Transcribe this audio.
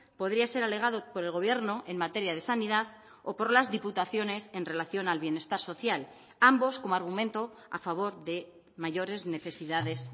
podría ser alegado por el gobierno en materia de sanidad o por las diputaciones en relación al bienestar social ambos como argumento a favor de mayores necesidades